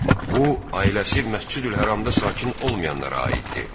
Bu, ailəsi Məscidül-Həramda sakin olmayanlara aiddir.